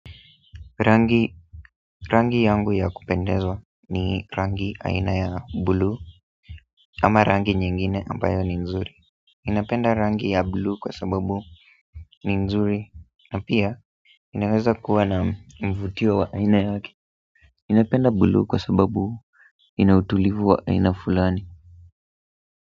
Tangi rangi yangu ya kupendeza ni rangi aina ya bluu ama rangi nyingine ambayo ni nzuri ninapenda rangi ya bulu kwa sababu ni nzuri na pia inaweza kuwa na mvutio wa aina yake ninapenda buluu kwa sababu inautulivu wa aina fulani.